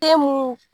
Den mun